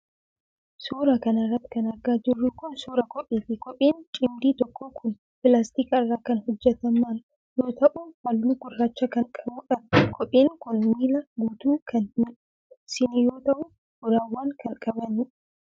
Suura kana irratti kan argaa jirru kun, suura kopheeti. Kopheen cimdii tokkoo kun pilaastika irra kan hojjataman yoo ta'u, haalluu gurraacha kan qabuudha. Kopheen kun miila guutuu kan hin dhoksine yoo ta'u, uraawwan kan qabaniidha